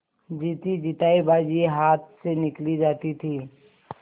जीतीजितायी बाजी हाथ से निकली जाती थी